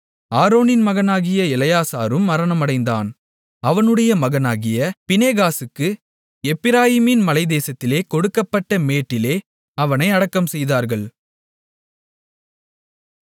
ஆரோனின் மகனாகிய எலெயாசாரும் மரணமடைந்தான் அவனுடைய மகனாகிய பினெகாசுக்கு எப்பிராயீமின் மலைத்தேசத்திலே கொடுக்கப்பட்ட மேட்டிலே அவனை அடக்கம்செய்தார்கள்